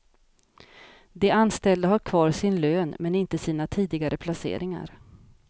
De anställda har kvar sin lön men inte sina tidigare placeringar.